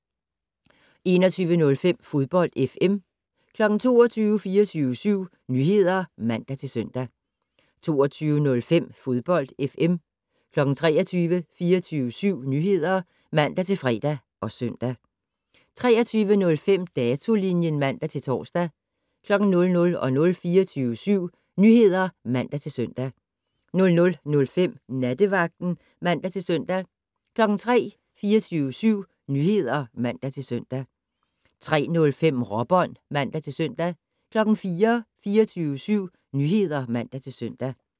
21:05: Fodbold FM 22:00: 24syv Nyheder (man-søn) 22:05: Fodbold FM 23:00: 24syv Nyheder (man-fre og søn) 23:05: Datolinjen (man-tor) 00:00: 24syv Nyheder (man-søn) 00:05: Nattevagten (man-søn) 03:00: 24syv Nyheder (man-søn) 03:05: Råbånd (man-søn) 04:00: 24syv Nyheder (man-søn)